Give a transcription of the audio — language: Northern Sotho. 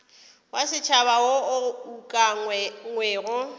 wa setšhaba wo o ukangwego